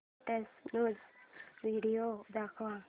latest news video दाखव